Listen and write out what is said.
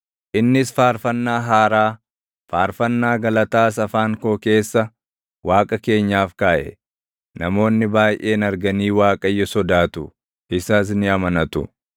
Innis faarfannaa haaraa, faarfannaa galataas afaan koo keessa // Waaqa keenyaaf kaaʼe. Namoonni baayʼeen arganii Waaqayyo sodaatu; isas ni amanatu.